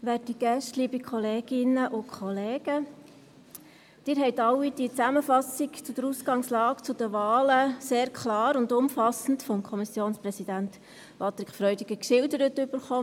Sie alle haben die Zusammenfassung zur Ausgangslage der Wahlen sehr klar und umfassend vom Kommissionsvizepräsidenten Patrick Freudiger geschildert erhalten.